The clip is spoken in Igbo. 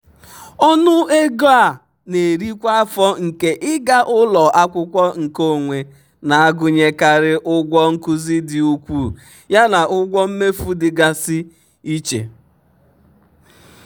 ọnụ ego a na-eri kwa afọ nke ịga ụlọ akwụkwọ nkeonwe na-agụnyekarị ụgwọ nkuzi dị ukwuu yana ụgwọ mmefu dịgasị iche.